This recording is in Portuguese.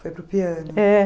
Foi para o piano. É